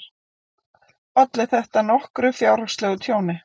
Olli þetta nokkru fjárhagslegu tjóni.